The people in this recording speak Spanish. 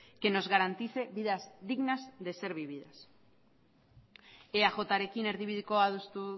que nos garantice vidas dignas de ser vividas eajrekin erdibidekoa adostu